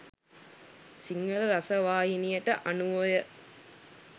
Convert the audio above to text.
සිංහල රසවාහිනියට අනුවය.